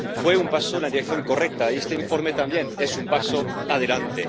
Fue un paso en la dirección correcta, y este informe también es un paso adelante.